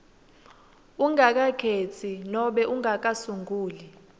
ungakakhetsi nobe ungakasunguli